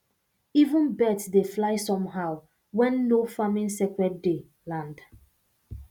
even birds dey fly somehow when nofarming sacred day land